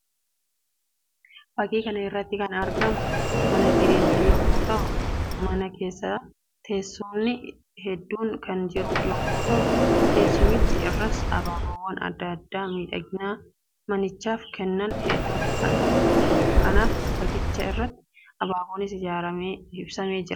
Fakkkii kana irratti kan argamu mana jireenyaa yammuu ta'u; mana keessas teessumni hedduun kan jiru yammuu ta'uu; teessumicha irraas abaaboowwan addaa addaa miidhagina manichaaf kennan hedduutu argama. Kanaaf fakkicha irrattis abaaboonis ibsamee jira.